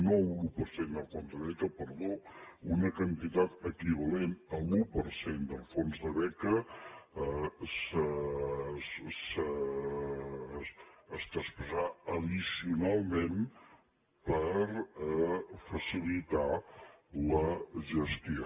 no l’un per cent dels fons de beques perdó una quantitat equivalent a l’un per cent del fons de beques es traspassarà addicionalment per facilitar la gestió